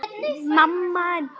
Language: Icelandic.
Það grunaði mig.